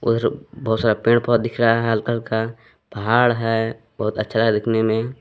और बहुत सारा पेड़ पौधा दिख रहा है हल्का हल्का पहाड़ है बहुत अच्छा है दिखने में।